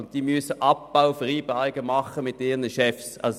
Die Betroffenen müssen Abbauvereinbarungen mit ihren Chefs treffen.